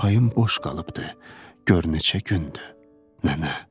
Çarpayım boş qalıbdır, gör neçə gündür nənə.